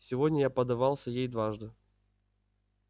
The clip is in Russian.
сегодня я поддавался ей дважды